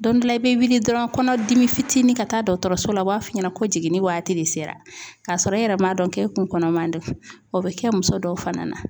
Don dɔ la i be wuli dɔrɔn kɔnɔdimi fitinin ka taa dɔɔtɔrɔso la u b'a f'i ɲɛna ko jiginni waati de sera kasɔrɔ e yɛrɛ m'a dɔn k'e kun kɔnɔman don. O bɛ kɛ muso dɔw fana na.